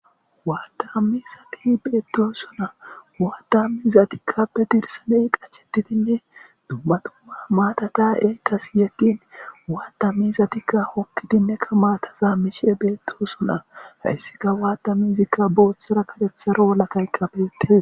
Waattami zati beetdo suna waatami zatikkappe dirsaney qachetitinne dummatuma maatataee kas yaqqin waatammi zatikka hokkidinnekka maatazaa mishe beetdo suna hayssika waatami izikka booththara karetharo lakayka beete.